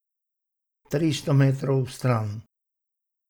Tristo metrov stran.